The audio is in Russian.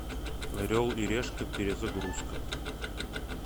орел и решка перезагрузка